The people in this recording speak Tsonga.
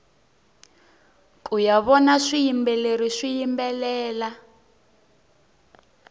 kuya vona swiyimbeleri swiyimbelela